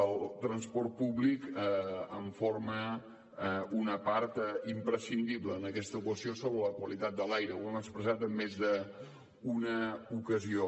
el transport públic forma una part imprescindible d’aquesta equació sobre la qualitat de l’aire ho hem expressat en més d’una ocasió